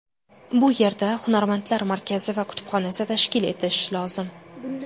Bu yerda hunarmandlar markazi va kutubxonasi tashkil etish lozim.